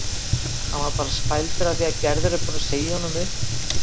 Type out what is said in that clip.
Hann er bara spældur af því að Gerður er búin að segja honum upp